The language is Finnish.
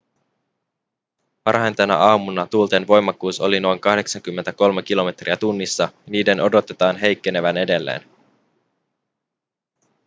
varhain tänä aamuna tuulten voimakkuus oli noin 83 kilometriä tunnissa ja niiden odotetaan heikkenevän edelleen